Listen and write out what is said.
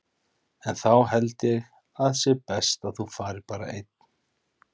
En þá held ég að sé best að þú farir bara einn!